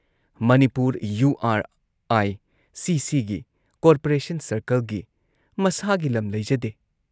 Manipur U R I C ꯁꯤꯒꯤ (corporation ꯁꯔꯀꯜꯒꯤ) ꯃꯁꯥꯒꯤ ꯂꯝ ꯂꯩꯖꯗꯦ꯫